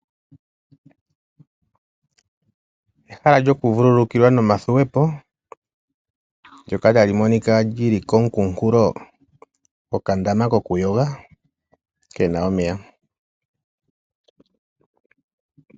Ehala lyokuvululukilwa nomathuwe po ndyoka ta li monika li li koonkunkulo gokandama kokuyoga ke na omeya.